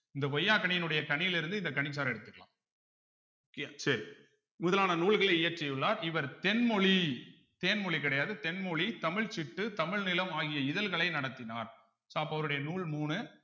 இந்த கொய்யாக் கனியினுடைய கனியிலிருந்து இந்த கனிச்சாறை எடுத்துக்கலாம் okay யா சரி முதலான நூல்களை இயற்றியுள்ளார் இவர் தென்மொழி தேன்மொழி கிடையாது தென்மொழி தமிழ் சிட்டு தமிழ் நிலம் ஆகிய இதழ்களை நடத்தினார் so அப்போ அவருடைய நூல் மூணு